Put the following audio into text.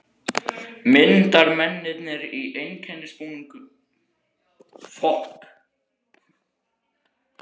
Myndarmennirnir í einkennisbúningunum sýna forseta og fylgdarliði svo bygginguna.